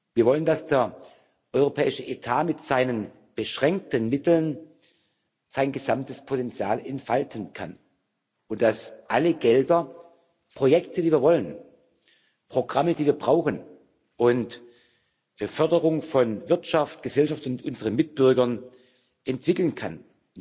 Wir wollen, dass der europäische Etat mit seinen beschränkten Mitteln sein gesamtes Potenzial entfalten kann und dass alle Gelder, Projekte, die wir wollen, Programme, die wir brauchen, der Förderung von Wirtschaft, Gesellschaft und unseren Mitbürgern dienen können.